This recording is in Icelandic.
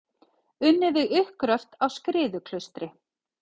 Unnið við uppgröft á Skriðuklaustri.